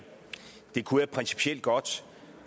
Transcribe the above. det kunne jeg principielt godt